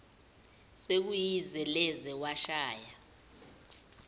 sekuyize leze washaya